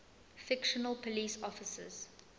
fictional police officers